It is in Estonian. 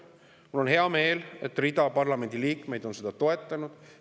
Mul on hea meel, et rida parlamendi liikmeid on seda toetanud.